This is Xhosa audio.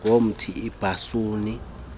ngomthi ibhasuni ixilongo